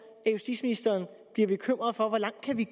justitsministeren bliver bekymret for hvor langt vi